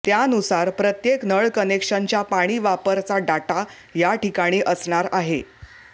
त्यानुसार प्रत्येक नळ कनेक्शनच्या पाणीवापरचा डाटा या ठीकाणी असणार आहे